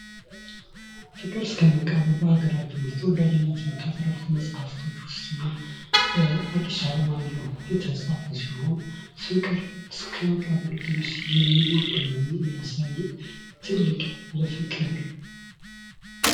ፍቅር እስከ መቃብር በሀገራችን ውስጥ ተወዳጅነት ካጠረፉት መጽሐፍቶች ውስጥ አንዱ ሲሆን በአዲስ አለማየሁ የተፃፈ ሲሆን ፍቅር እስከ መቃብር ድረስ የሚወርድ መሆኑን የሚያሳይ ትልቅ ለፍቅር